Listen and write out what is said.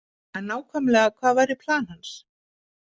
En nákvæmlega hvað væri plan hans?